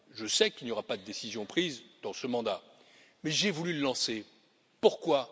je sais qu'il n'y aura pas de décision prise dans ce mandat, mais j'ai voulu lancer ce débat. Pourquoi?